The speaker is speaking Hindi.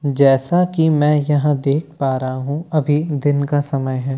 जैसा कि मैं यहां देख पा रहा हूं अभी दिन का समय है।